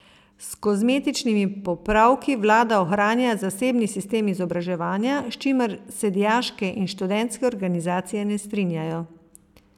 S kozmetičnimi popravki vlada ohranja zasebni sistem izobraževanja, s čimer se dijaške in študentske organizacije ne strinjajo.